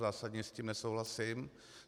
Zásadně s tím nesouhlasím.